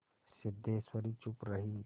सिद्धेश्वरी चुप रही